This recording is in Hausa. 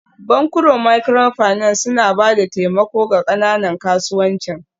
Bankunan Microfinance suna ba da taimako ga ƙananan kasuwancin